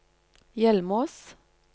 Hjelmås